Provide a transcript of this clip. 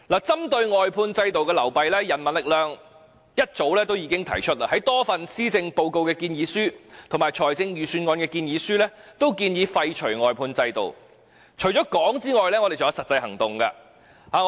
針對外判制度的流弊，人民力量早已在多份施政報告及財政預算案建議書均建議廢除外判制度，除了提出建議外，我們也有實際行動。